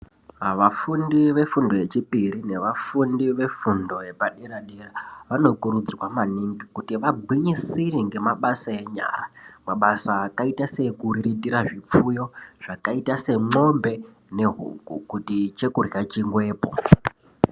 Vafundi vefundo yechipiri nevafundi vefundo yepadera -dera, vanokurudzirwa maningi kuti vagwinyisire ngemabasa enyara. Mabasa akaita seekururitira zvipfuyo zvakaita semwombe nehuku kuti chekurya chiwepo.